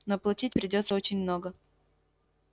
но платить придётся очень много